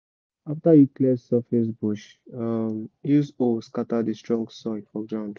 after you clear surface bush use hoe scatter the strong soil for ground